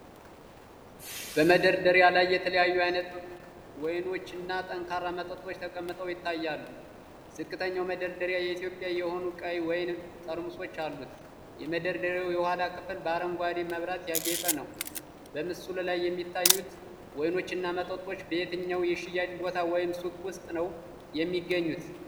በመደርደሪያ ላይ የተለያዩ አይነት ወይኖች እና ጠንካራ መጠጦች ተቀምጠው ይታያሉ። ዝቅተኛው መደርደሪያ የኢትዮጵያ የሆኑ ቀይ ወይን ጠርሙሶች አሉት። የመደርደሪያው የኋላ ክፍል በአረንጓዴ መብራት ያጌጠ ነው። በምስሉ ላይ የሚታዩት ወይኖችና መጠጦች በየትኛው የሽያጭ ቦታ ወይም ሱቅ ውስጥ ነው የሚገኙት?